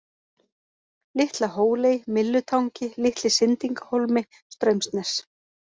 Litla-Hóley, Myllutangi, Litli-Sindingahólmi, Straumsnes